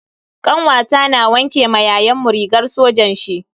Kanwata na wanke ma yayanmu rigar sojan shi.